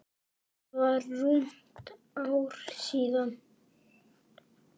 Það var rúmt ár síðan.